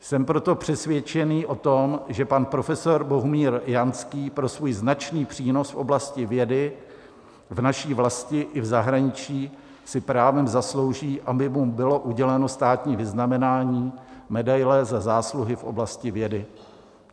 Jsem proto přesvědčený o tom, že pan profesor Bohumír Janský pro svůj značný přínos v oblasti vědy v naší vlasti i v zahraničí si právem zaslouží, aby mu bylo uděleno státní vyznamenání medaile Za zásluhy v oblasti vědy.